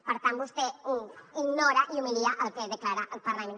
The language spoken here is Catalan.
per tant vostè ignora i humilia el que declara el parlament